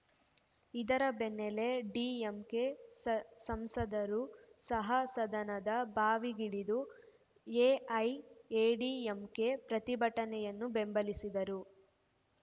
ಇದರ ಬೆನ್ನಲ್ಲೇ ಡಿಎಂಕೆ ಸಂಸದರೂ ಸಹ ಸದನದ ಬಾವಿಗಿಳಿದು ಎಐಎಡಿಎಂಕೆ ಪ್ರತಿಭಟನೆಯನ್ನು ಬೆಂಬಲಿಸಿದರು